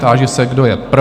Táži se, kdo je pro?